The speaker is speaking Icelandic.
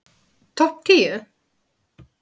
Topp tíu